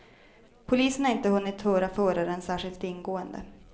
Polisen har inte hunnit höra föraren särskilt ingående.